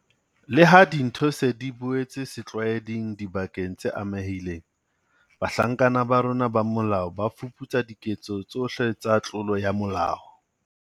Leha dintho se di boetse setlwaeding dibakeng tse amehileng, bahlanka ba rona ba molao ba fuputsa diketso tsohle tsa tlolo ya molao.